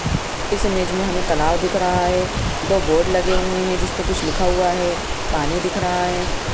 इस इमेज में हमें तालाब दिख रहा है दो बोर्ड लगे हुए हैं जिस पर कुछ लिखा हुआ है पानी दिख रहा है।